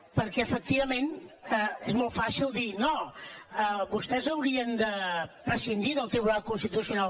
perquè efectivament és molt fàcil dir no vostès haurien de prescindir del tribunal constitucional